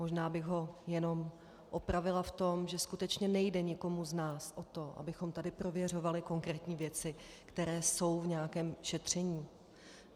Možná bych ho jenom opravila v tom, že skutečně nejde nikomu z nás o to, abychom tady prověřovali konkrétní věci, které jsou v nějakém šetření.